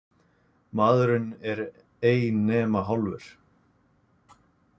Maðurinn einn er ei nema hálfur.